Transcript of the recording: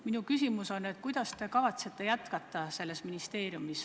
Kuidas te kavatsete selles ministeeriumis tööd jätkata?